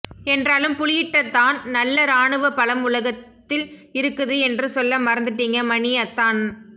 என்றாலும் புலியிட்ட தான் நல்ல இராணுவபலம் உலகத்தில இருக்குது என்று சொல்ல மறந்துட்டீங்க மணி அத்தான்